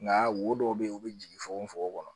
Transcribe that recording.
Nka wo dɔw bɛ yen u bɛ jigin fokon fokon fokon kɔnɔ